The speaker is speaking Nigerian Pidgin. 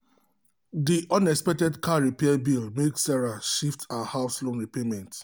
the unexpected car repair bill make sarah shift her house loan payment for some weeks.